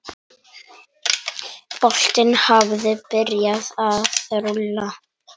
Boltinn hafi byrjað að rúlla.